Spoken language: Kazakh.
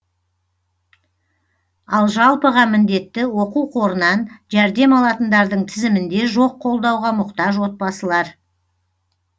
ал жалпыға міндетті оқу қорынан жәрдем алатындардың тізімінде жоқ қолдауға мұқтаж отбасылар